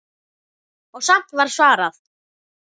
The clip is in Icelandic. Og samt var svarað.